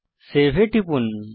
save এ টিপুন